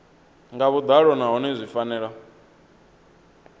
nga vhuḓalo nahone zwi fanela